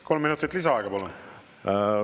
Kolm minutit lisaaega, palun!